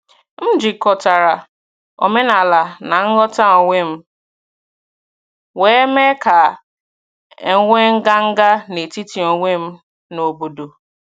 M jikọtara omenala na nghọta onwe m, wee mee ka e nwee nganga n’etiti onwe m na obodo.